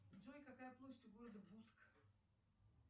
джой какая площадь у города буск